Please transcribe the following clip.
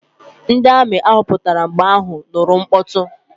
Ndị amị ahụ pụtara mgbe ha nụrụ mkpọtụ.